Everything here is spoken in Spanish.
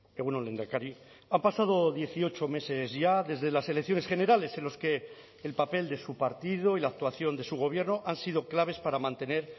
egun on lehendakari han pasado dieciocho meses ya desde las elecciones generales en los que el papel de su partido y la actuación de su gobierno han sido claves para mantener